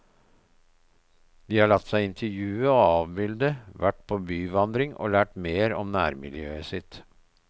De har latt seg intervjue og avbilde, vært på byvandring og lært mer om nærmiljøet sitt.